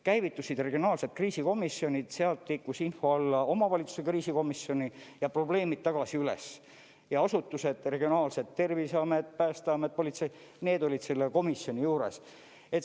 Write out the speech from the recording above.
Käivitusid regionaalsed kriisikomisjonid, sealt liikus info alla omavalitsuse kriisikomisjoni ja probleemid tagasi üles, ja asutused – regionaalsed, Terviseamet, Päästeamet, politsei – olid selle komisjoni juures.